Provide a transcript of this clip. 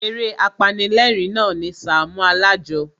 Eré apanilérìn na ni Sàámú Alájọ.